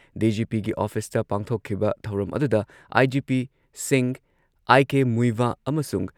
ꯗꯤ.ꯖꯤ.ꯄꯤꯒꯤ ꯑꯣꯐꯤꯁꯇ ꯄꯥꯡꯊꯣꯛꯈꯤꯕ ꯊꯧꯔꯝ ꯑꯗꯨꯗ ꯑꯥꯏ.ꯖꯤ.ꯄꯤꯁꯤꯡ ꯑꯥꯏ.ꯀꯦ. ꯃꯨꯏꯚꯥ ꯑꯃꯁꯨꯡ